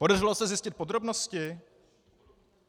Podařilo se zjistit podrobnosti?